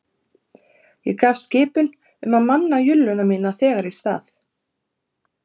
Ég gaf skipun um að manna julluna mína þegar í stað